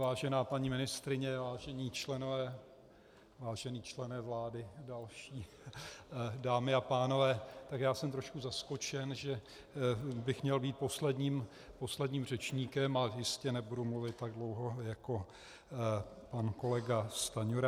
Vážená paní ministryně, vážení členové - vážený člene vlády další, dámy a pánové, tak já jsem trošku zaskočen, že bych měl být posledním řečníkem, a jistě nebudu mluvit tak dlouho jako pan kolega Stanjura.